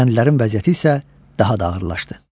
Kəndlərin vəziyyəti isə daha da ağırlaşdı.